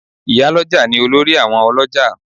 Ì̀yálọ́jà ni olórí àwọn ọlọ́jà